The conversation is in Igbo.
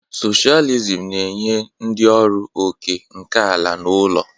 Socialism na-enye ndị ọrụ òkè nke ala na ụlọ.